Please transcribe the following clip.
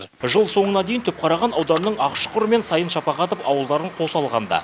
жыл соңына дейін түпқараған ауданының ақшұқыр мен сайын шапағатов ауылдарын қоса алғанда